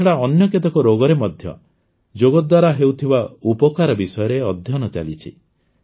ଏହାଛଡ଼ା ଅନ୍ୟ ଅନେକ ରୋଗରେ ମଧ୍ୟ ଯୋଗ ଦ୍ୱାରା ହେଉଥିବା ଉପକାର ବିଷୟରେ ଅଧ୍ୟୟନ ଚାଲିଛି